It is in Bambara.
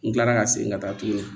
N kilala ka segin ka taa tuguni